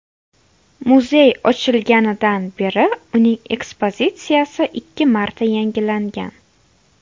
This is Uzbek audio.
Muzey ochilganidan beri uning ekspozitsiyasi ikki marta yangilangan.